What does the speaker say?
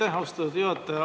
Aitäh, austatud juhataja!